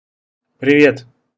привет